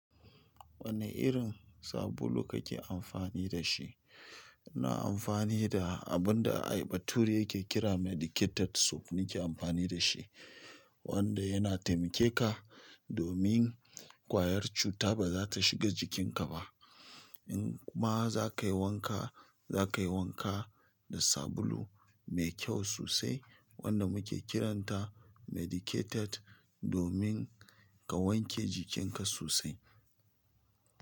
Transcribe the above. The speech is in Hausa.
Wane irin sabulu kake amfani da shi? Ina amfani da abin da bature yake kira medicated soap nake amfani da shi, wanda yana taimake ka domin ƙwayar cuta ba za ta shiga jikin ka ba in kuma zaka yi wanka, zaka yi wanka da sabulu mai kyau sosai wanda muke kiranta medicated domin ka wanke jikinka sosai.